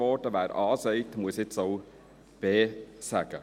«Wer A sagt, muss auch B sagen».